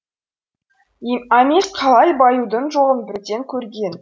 амес қалай баюдың жолын бірден көрген